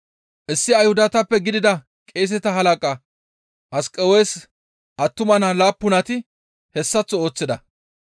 Issi Ayhudatappe gidida qeeseta halaqa Asqewes attuma naa laappunati hessaththo ooththida.